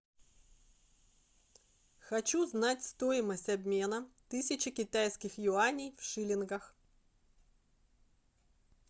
хочу знать стоимость обмена тысячи китайских юаней в шиллингах